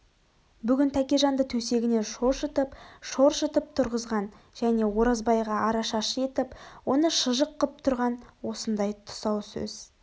бүгін тәкежанды төсегінен шошытып шоршытып тұрғызған және оразбайға арашашы етіп оны шыжық қып тұрған осындай тұсау сөз